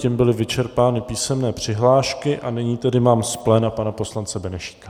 Tím byly vyčerpány písemné přihlášky a nyní tedy mám z pléna pana poslance Benešíka.